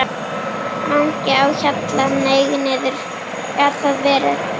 MANGI Á HJALLA, hneig niður. gat það verið?